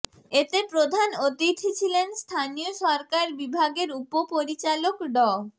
এতে প্রধান অতিথি ছিলেন স্থানীয় সরকার বিভাগের উপপরিচালক ড